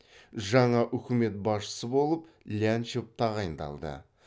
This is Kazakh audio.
жаңа үкімет басшысы болып лянчев тағайындалды